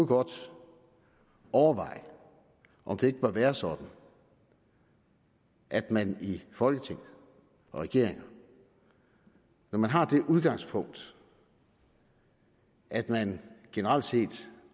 godt overveje om det ikke bør være sådan at man i folketinget og regeringen når man har det udgangspunkt at man generelt set